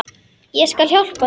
Ég skal hjálpa þér.